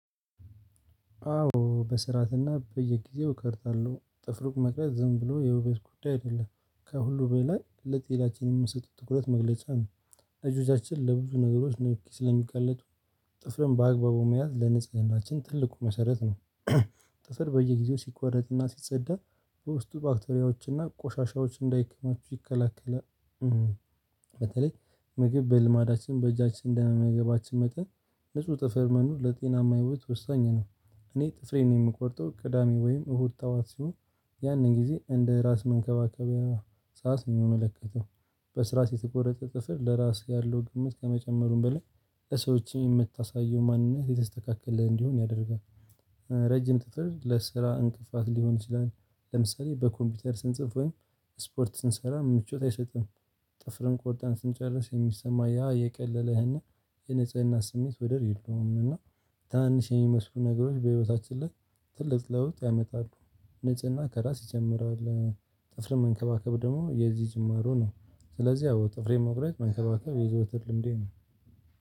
አዎ በስርዓትና በየጊዜው እቆርጣለሁ ጥፍሩ መቅረጽ ዝም ብሎ የውበት ጉዳይ አይደለም ከሁሉ በላይ ለጤናችን የምንሰጠው ትኩረት መግለጫ ነው። እጆቻችን ለብዙ ነገሮች ነው እኮ ስለሚቀለጥ ጥፍርን በአግባቡ መያዝ ለንጽህናችን ትልቁ መሰረት ነው። ጥፍር በየጊዜው ሲቋረጥና ሲጸዳ በውስጡ ባክቴሪያዎችና ቆሻሻዎች እንዳይከማቹ ይከለክላል። በተለይ ምግብ በልማዳችን በእጃችን እንደመመገባችን መጠን ንጹህ ጥፍር መኖር ለጤናማ ህይወት ወሳኝ ነው። እኔ ጥፍሬን የምቆርጠው ቅዳሜ ወይም እሁድ ጠዋት ሲሆን። ያንን ጊዜ እንደ ራስ መንከባከቢያ ሳስን የሚመለከተው በስርዓት የተቆረጠ ጥፍር ለራስህ ያለው ግምት ከመጨመሩም በላይ ለሰዎችህ የምታሳየው ማንነት የተስተካከለ እንዲሆን ያደርጋል። ረጅም ጥፍር ለስራ እንቅፋት ሊሆን ይችላል። ለምሳሌ በኮምፒውተር ስንጽፍ ወይም ስፖርት ስንሰራ ምቾት አይሰጥም። ጥፍርን ቆርጠን ስንጨርስ የሚሰማ ያ የቀለለህን የንጽህና ስሜት ወደር የለውም። እና ትናንሽ የሚመስሉ ነገሮች በህይወታችን ላይ ትልቅ ለውጥ ያመጣሉ። ንጽህና ከራስ ይጀምራል። ጥፍርን መንከባከብ ደግሞ የዚህ ጅምሩ ነው ስለዚህ አዎ ጥፍሬ መቁረጥ መንከባከብ የዘወተድ ልምዴ ነው።